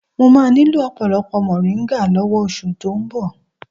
Mo máa nílò ọ̀pọ̀lọpọ̀ moringa lọ́wọ́ oṣù tó ń bọ̀